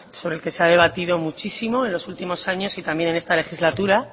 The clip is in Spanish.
sobre el que se ha debatido muchísimo en los últimos años y también en esta legislatura